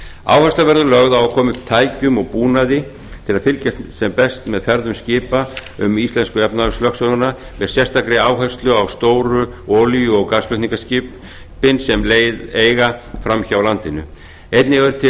áhersla verður lögð á að koma upp tækjum og búnaði til að fylgjast sem best með ferðum skipa um íslensku efnahagslögsöguna með sérstakri áherslu á stóru olíu og gaslutningaskip sem leið eiga framhjá landinu einnig eru til